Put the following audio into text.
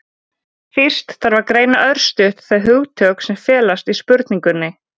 Fyrst þarf að greina örstutt þau hugtök sem felast í spurningunni.